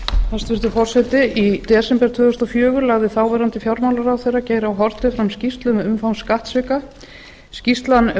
hæstvirtur forseti í desember tvö þúsund og fjögur lagði þáverandi fjármálaráðherra geir h haarde fram skýrslu um umfang skattsvika skýrslan